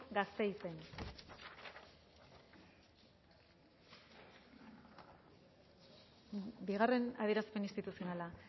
gasteizen bigarren adierazpen instituzionala